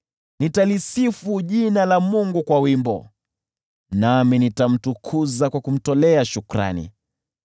Nitalisifu jina la Mungu kwa wimbo, nami nitamtukuza kwa kumtolea shukrani.